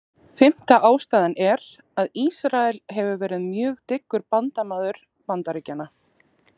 Fimmta ástæðan er, að Ísrael hefur verið mjög dyggur bandamaður Bandaríkjanna.